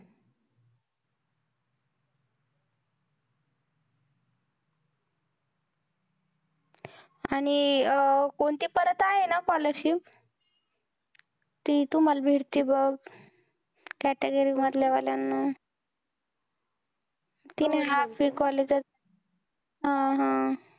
आणि कोणती परत आहे ना scholarship ती तुम्हांला भेटती बघ, category वाल्या वाल्यांना. ती नाही का आपली college त हा हा